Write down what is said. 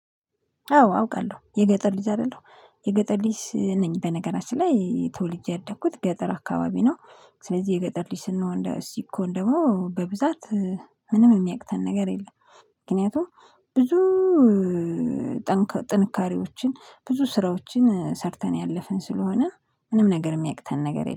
አዎ አውቃለሁ የገጠር ልጅ አይደለሁ የገጠር ልጅ ነኝ በነገራችን ላይ ተወልጄ ያደኩት ገጠር አካባቢ ነው። ስለዚህ የገጠር ልጅ ስንሆን እንደ ሰን ሲኮን ደግሞ በብዛት ምንም የሚያቅተን ነገር የለም። ምክንያቱም ብዙ ጥንካሬዎችን ብዙ ስራዎችን ሰርተን ያለፍን ስለሆነ ምንም ነገር የሚያቅተን ነገር የለም